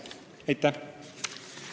Aitäh!